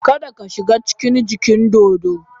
Kada ka shiga cikin dajin dodo.